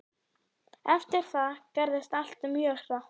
Eftir það gerðist allt mjög hratt.